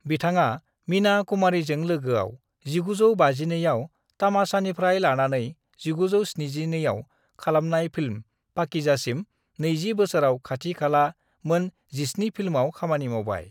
बिथाङा मीना कुमारीजों लोगोआव 1952आव तमाशानिफ्राय लानानै 1972आव खालामनाय फिल्म पाकीजासिम नैजि बोसोराव खाथि खाला मोन 17 फिल्माव खामानि मावबाय।